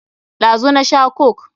Ɗazu na sha coke.